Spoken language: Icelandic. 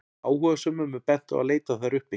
áhugasömum er bent á að leita þær uppi